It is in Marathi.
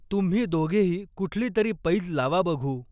तुम्ही दोघेही कुठली तरी पैज लावा बघू!